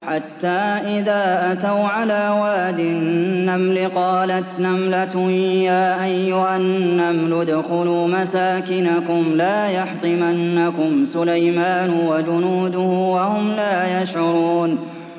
حَتَّىٰ إِذَا أَتَوْا عَلَىٰ وَادِ النَّمْلِ قَالَتْ نَمْلَةٌ يَا أَيُّهَا النَّمْلُ ادْخُلُوا مَسَاكِنَكُمْ لَا يَحْطِمَنَّكُمْ سُلَيْمَانُ وَجُنُودُهُ وَهُمْ لَا يَشْعُرُونَ